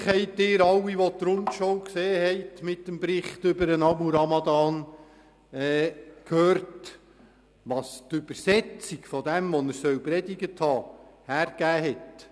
Natürlich haben Sie alle, wenn Sie die «Rundschau» mit dem Bericht über Abu Ramadan gesehen haben, gehört, was die Übersetzung von dem, was er gepredigt haben soll, hergegeben hat.